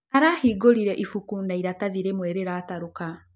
Arahĩngũrĩre ĩbũkũ na ĩratathĩ rĩmwe rĩratarũka.